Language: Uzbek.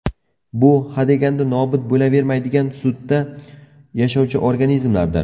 Bu hadeganda nobud bo‘lavermaydigan sutda yashovchi organizmlardir.